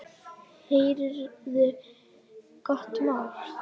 Heyrðu gott mál.